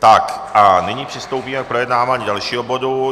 Tak a nyní přistoupíme k projednávání dalšího bodu.